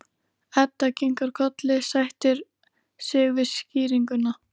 Edda kinkar kolli, sættir sig við skýringuna.